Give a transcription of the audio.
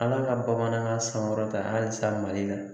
Ala ka bamanankan sankɔrɔta halisa Mali la.